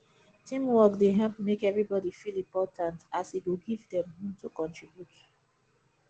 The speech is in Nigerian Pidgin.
teamwork dey help make everybody feel important as e go give them room to contribute